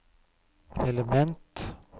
element